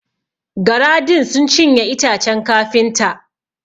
Gara din sun cinye itacen kafinta.